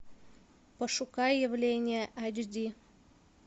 пошукай явление айч ди